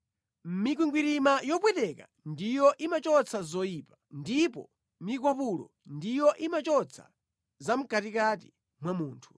Mikwingwirima yopweteka ndiyo imachotsa zoyipa, ndipo mikwapulo ndiyo imachotsa zamʼkatikati mwa munthu.